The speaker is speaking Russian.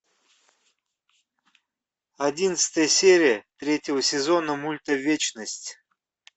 одиннадцатая серия третьего сезона мульта вечность